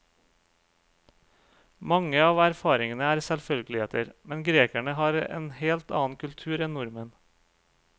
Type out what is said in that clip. Mange av erfaringene er selvfølgeligheter, men grekerne har en helt annen kultur enn nordmenn.